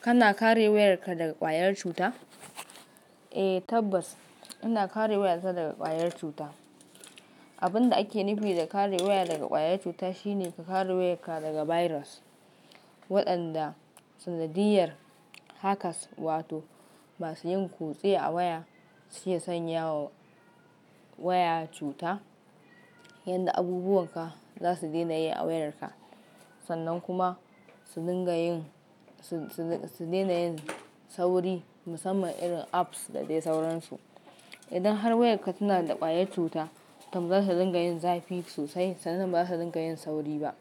Kana kare wayarka daga ƙwayar cuta? Eh tabbas, ina kare wayata daga ƙwayar cuta. Abin da ake nufi da kare waya daga ƙwayar cuta shine ka kare wayarka daga virus, waɗanda sanadiyyar haka s-wato masu yin kutse a waya suke sanya wa waya cuta. Yanda abubuwan ka za su daina yi a wayarka, sannan kuma su dinga yin, su, su, su daina yin sauri musamman irin apps da dai sauransu. Idan har wayarka ta nada kwayar cuta to zata dinga yin zafi sosai sanan baza ta dinga yin sauri ba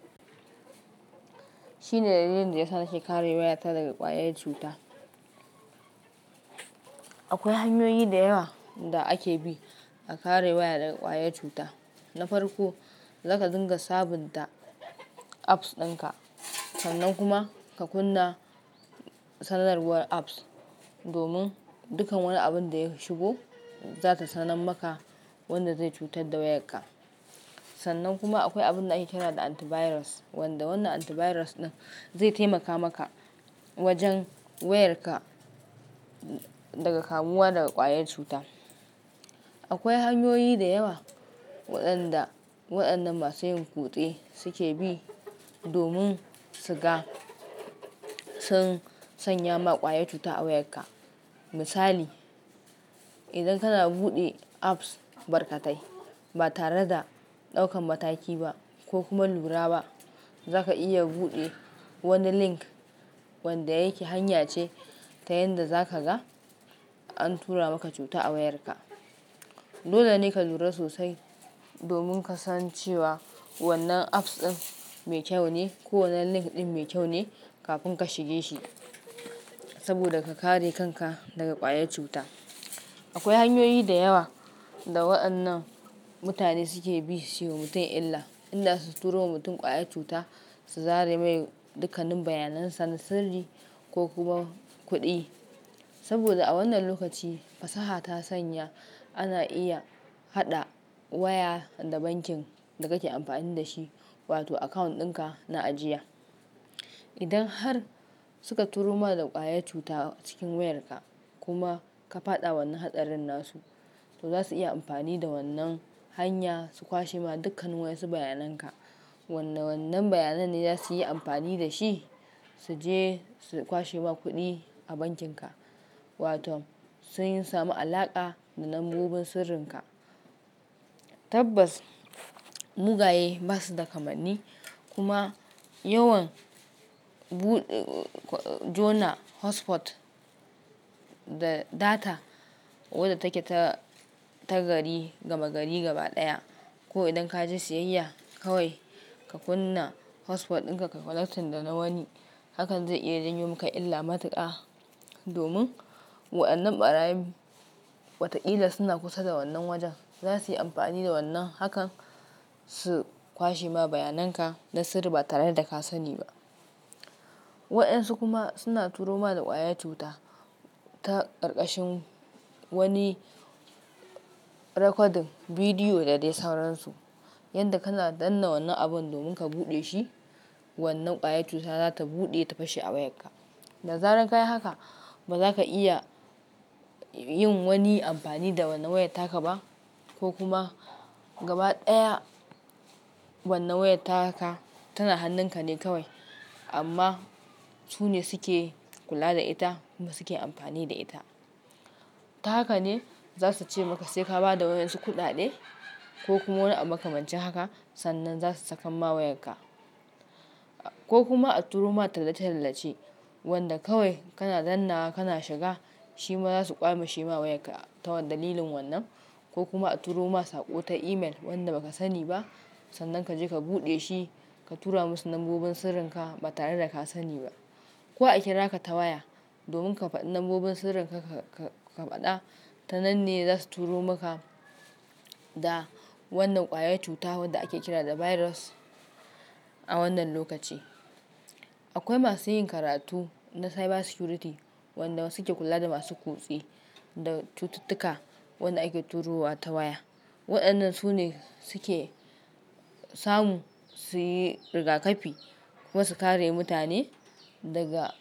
akwai hanyoyi da yawa da ake bi a kare waya daga ƙwayar cuta. Na farko, zaka dinga sabunta apps ɗinka, sannan kuma ka kunna sanarwar apps, domin dukkan wani abin da ya shigo, za ta sanar maka wanda zai cutar da wayarka. Sannan kuma akwai abin da ake kira da antivirus, wanda wannan antivirus ɗin zai taimaka maka wajen wayarka daga kamuwa daga ƙwayar cuta. Akwai hanyoyi da yawa waɗanda waɗannan masu yin kutse suke bi domin su ga sun sanya ma ƙwayar cuta a wayarka. Misali, idan kana buɗe apps barkatai ba tare da ɗaukan mataki ba ko kuma lura ba, zaka iya buɗe wani link wanda yake hanya ce ta yanda za ka ga an tura maka cuta a wayarka. Dole ne ka lura sosai domin ka san cewa wannan apps ɗin mai kyau ne ko wannan link ɗin mai kyau ne kafin ka shige shi saboda ka kare kanka daga ƙwayar cuta. Akwai hanyoyi da yawa da waɗannan mutane suke bi su yi wa mutum illa, illa su turo wa mutum ƙwayar cuta, su zare mai dukkanin bayanan sa na sirri ko kuma kuɗi. Saboda a wannan lokaci fasaha ta sanya ana iya haɗa waya da bankin da kake amfani da shi, wato account ɗinka na ajiya. Idan har suka turo ma da ƙwayar cuta cikin wayarka kuma ka faɗa wannan hatsarin nasu, to za su iya amfani da wannan hanya su kwashe ma dukkanin wainsu su bayananka. Wannan, wannan bayanan ne za su yi amfani da shi su je su kwashe ma kuɗi a bankinka, wato sun samu alaƙa da lambobin sirrinka. Tabbas, mugaye ba su da kamanni, kuma yawan jona hotspot da data wadda take ta gari, gaba gari gaba ɗaya ko idan ka je siyayya kawai ka kunna hotspot ɗinka ka connecting da na wani, hakan zai iya janyo maka illa matuƙa domin waɗannan ɓarayi watakila suna kusa da wannan wajen. Za su yi amfani da wannan hakan su kwashe ma bayananka na sirri ba tare da ka sani ba. Waɗansu kuma suna turo ma da ƙwayar cuta ta ƙarƙashin wani recording bidiyo da dai sauransu. Yanda kana danna wannan abun ka bude shi wannan kwayar cuta zata bude ta fashe a wayarka. Da zaran ka yi haka, ba za ka iya yin wani amfani da wannan wayarta ka ba ko kuma gaba ɗaya wannan wayarta ka tana hannunka ne kawai amma su ne suke kula da ita kuma suke amfani da ita. Ta haka ne za su ce maka sai ka ba da waɗansu kuɗaɗe ko kuma wani abu aka mace haka sannan za su sakan ma wayarka. Ko kuma a turo ma tallace-tallace wanda kawai kana dannawa kana shiga, shi ma za su ƙwaimeshi ma wayarka ta dalilin wannan. Ko kuma a turo ma saƙo ta email wanda ba ka sani ba, sannan ka je ka buɗe shi ka tura musu lambobin sirrinka ba tare da ka sani ba. Ko a kira ka ta waya domin ka faɗi lambobin sirrin ka, ka, ka, ka faɗa. Tananne za su turo maka da wannan ƙwayar cuta wadda ake kira da virus a wannan lokaci. Akwai masu yin karatu na cyber security waɗanda suke kula da masu kutse da cututtuka waɗanda ake turuwa ta waya. Waɗannan su ne suke samu su yi rigakafi kuma su kare mutane daga.